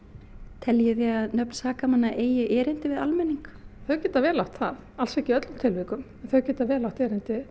teljið þið að nöfn sakamanna eigi erindi við almenning þau geta vel átt það alls ekki í öllum tilvikum þau geta vel átt erindi